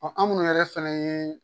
an munnu yɛrɛ fɛnɛ ye